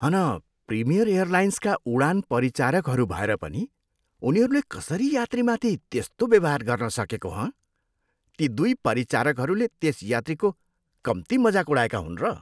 हन प्रिमियर एयरलाइन्सका उडान परिचारकहरू भएर पनि उनीहरूले कसरी यात्रीमाथि त्यस्तो व्यवहार गर्न सकेको, हँ? ती दुई परिचारकहरूले त्यस यात्रीको कम्ती मजाक उडाएका हुन् र!